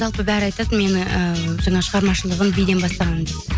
жалпы бәрі айтады мені і жаңа шығармашылығын биден бастаған деп